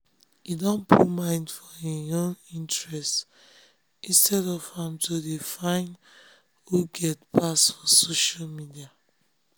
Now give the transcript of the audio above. he don put mind for im own interest instead of am to de find who get pass for social media